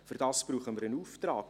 Dafür brauchen wir einen Auftrag.